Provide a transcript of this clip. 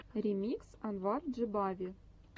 ремикс анвар джибави